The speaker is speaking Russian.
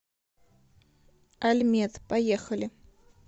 альмед поехали